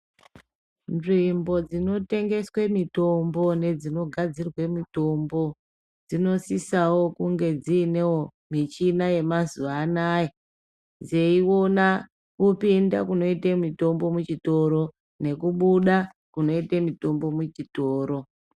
Nzvimbo dzinotengeswe mitombo nedzinogadzirwe mitombo, dzinosisawo kunge dziinewo michina yamazuva anaya, dzeiona kupinda kunoite mitombo muchitoro, nekubuda kunoite mitombo muchitoro.